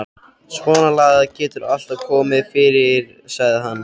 Svonalagað getur alltaf komið fyrir sagði hann.